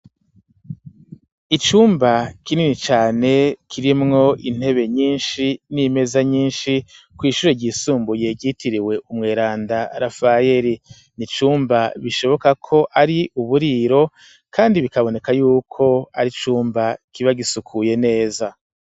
Icumba kinini cane kirimwo intebe nyinshi, n'imeza nyinshi, kw' ishure ryisumbuye ryitiriwe umweranda rafayeli, nicumba bishoboka ko ari uburiro kandi bikaboneka yuko ari cumba, kiba gisukuye neza.